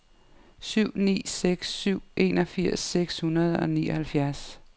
syv ni seks syv enogfirs seks hundrede og nioghalvfjerds